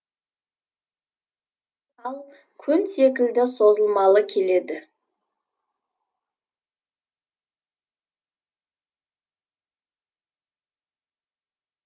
тал көн секілді созылмалы келеді